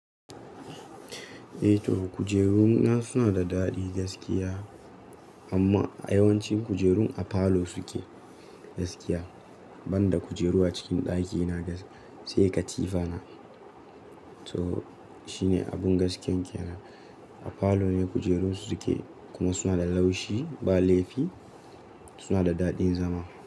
Eh to kujeruna suna da daɗi gaskiya amma a yawanci kujerun a falo suke gaskiya, ban da kujeru a cikin ɗaki na gas sai katifa na. To shine abun gaskiyan kenan. A falo ne kujeru suke kuma suna da laushi ba laifi suna da daɗin zama.